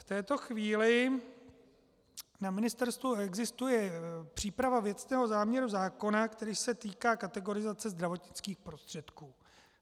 V této chvíli na ministerstvu existuje příprava věcného záměru zákona, který se týká kategorizace zdravotnických prostředků.